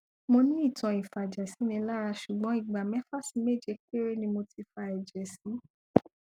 mo ní ìtàn ìfàjẹsínilára ṣùgbọn ìgbà mẹfà sí méje péré ni mo ti fa ẹjẹ sí